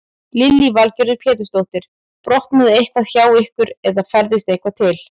Lillý Valgerður Pétursdóttir: Brotnaði eitthvað hjá ykkur eða færðist eitthvað til?